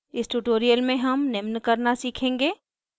इस tutorial में हम निम्न करना सीखेंगे